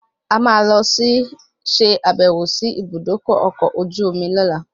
A máa lọ ṣe àbẹ̀wò sí Ibùdókọ̀ ọkọ̀ ojú omi lóla